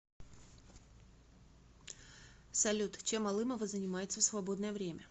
салют чем алымова занимается в свободное время